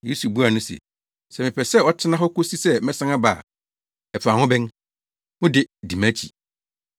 Yesu buaa no se, “Sɛ mepɛ sɛ ɔtena hɔ kosi sɛ mɛsan aba a, ɛfa wo ho bɛn? Wo de, di mʼakyi.”